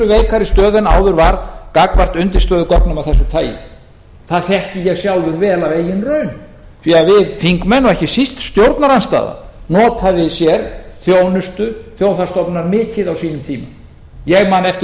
veikari stöðu en áður var gagnvart undirstöðugögnum af þessu tagi það þekki ég sjálfur vel af eigin raun því að við þingmenn og ekki síst stjórnarandstaðan notaði sér þjónustu þjóðhagsstofnunar mikið á sínum tíma ég man eftir